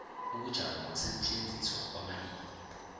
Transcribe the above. ubujamo nokusetjenziswa kwamalimi